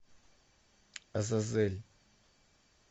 азазель